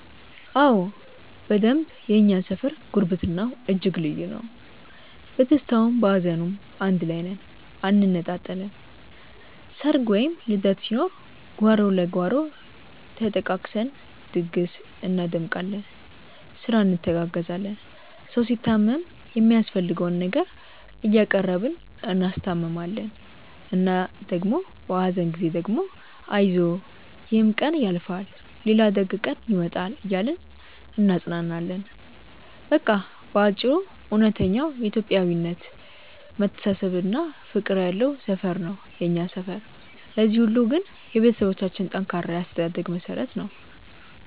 አዎ በደንብ የእኛ ሰፈር ጉርብትናው እጅግ ልዩ ነው። በደስታውም በሀዘኑም አንድ ላይ ነን አንነጣጠልም። ሰርግ ወይም ልደት ሲኖር ጓሮ ለጓሮ ተጠቃቅሰን ድግስ እናደምቃለን፤ ስራ እንተጋገዛለን። ሰው ሲታመም የሚያስፈልገውን ነገር እያቀረብን እናስታምማለን እና ደግሞ በሀዘን ጊዜ ደግሞ አይዞህ ይሕም ቀን ያልፋል ሌላ ደግ ቀን ይመጣል እያልን እናጽናናለን። በቃ በአጭሩ እውነተኛው የኢትዮጵያዊነት መተሳሰብና ፍቅር ያለው ሰፈር ነው የኛ ሰፈር። ለዚህ ሁሉ ግን የቤተሰቦቻችን ጠንካራ የአስተዳደግ መሠረት ነው።